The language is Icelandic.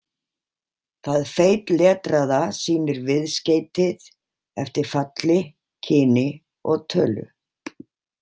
Það feitletraða sýnir viðskeytið eftir falli, kyni og tölu.